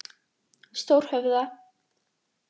Stórhöfða